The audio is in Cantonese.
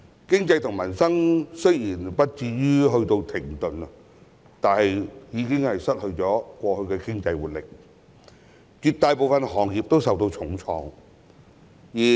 經濟和民生雖不至於停頓，但卻失去了過去的經濟活力，絕大部分行業都受重創。